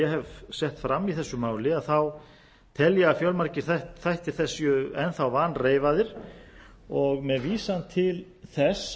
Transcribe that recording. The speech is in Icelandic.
hef sett fram í þessu máli tel ég að fjölmargir þættir þess séu enn þá vanreifaðir og með vísan til þess